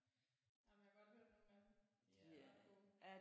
Jamen jeg har godt hørt nogle af dem de er ret gode